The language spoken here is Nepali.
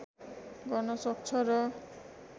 गर्न सक्छ र